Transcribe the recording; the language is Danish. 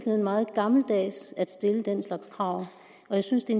meget gammeldags at stille den slags krav jeg synes det